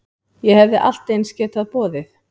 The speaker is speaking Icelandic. Ég hefði allt eins getað boðið